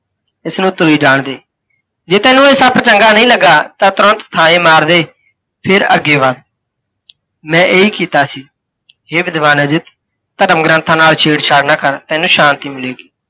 ਇਸ ਨੂੰ ਤੁਰੇ ਜਾਣ ਦੇ। ਜੇ ਤੈਨੂੰ ਇਹ ਸੱਪ ਚੰਗਾ ਨਹੀਂ ਲੱਗਾ ਤਾਂ ਤੁਰੰਤ ਥਾਂਹਿ ਮਾਰ ਦੇ, ਫਿਰ ਅੱਗੇ ਵੱਧ, ਮੈਂ ਇਹੀ ਕੀਤਾ ਸੀ। ਹੇ ਵਿਧਵਾਨ ਅਜਿੱਤ! ਧਰਮ ਗ੍ੰਥਾ ਨਾਲ ਛੇੜਛਾੜ ਨਾ ਕਰ ਤੈਨੂੰ ਸ਼ਾਂਤੀ ਮਿਲੇਗੀ।